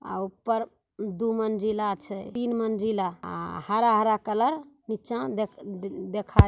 आ ऊपर दू मजिला छे तीन मंजिला आ हरा-हरा कलर निचा दे देखाई --